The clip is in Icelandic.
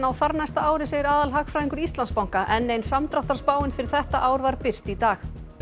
þarnæsta ári segir aðalhagfræðingur Íslandsbanka enn ein samdráttarspáin fyrir þetta ár var birt í dag